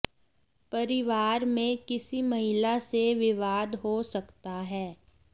परिवार में किसी महिला से विवाद हो सकता है